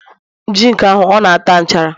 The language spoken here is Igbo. zinc ahụ, ọ nata nchara